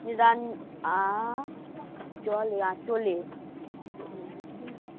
আ চলে আচলে